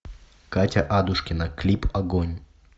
катя адушкина клип огонь